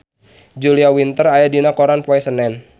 Julia Winter aya dina koran poe Senen